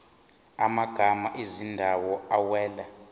amagama ezindawo awela